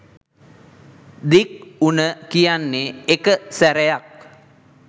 දික් උන කියන්නේ එක සැරයක්.